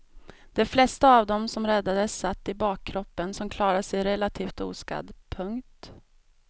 De flesta av dem som räddades satt i bakkroppen som klarade sig relativt oskadd. punkt